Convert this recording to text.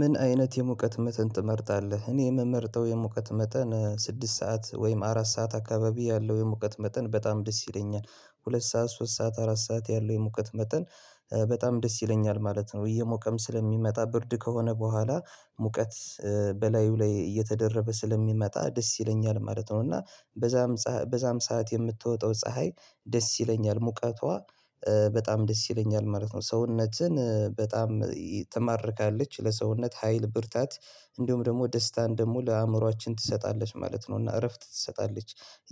ምን አይነት የሙቀት መጠን ትመርጣለህ እኔ የምመርተው የሙቀት መጠን ስድስት ሰዓት ወይም አራት ሰዓት አካባቢ ያለው የሙቀት መጠን በጣም ደስ ይለኛል ሁለት ሰዓት ሶስት ሰዓት አራት ሰዓት ያለው የሙቀት መጠን በጣም ደስ ይለኛል ማለት ነው እየሞቀም ስለሚመጣ ብርድ ከሆነ በኋላ ሙቀት በላዩ ላይ እየተደረበ ስለሚመጣ ደስ ይለኛል ማለት ነው እና በዛም በዛም ሰዓት የምትወጣው ፀሀይ ደስ ይለኛል ሙቀቷ በጣም ደስ ይለኛል ማለት ነው ሰውነትን በጣም ትማርካለች ለሰውነት ሀይል ብርታት እንደሁም ደግሞ ደስታን ደግሞ ለአእምሮአችን ትሰጣለች ማለት ነው እና እረፍት ትሰጣለች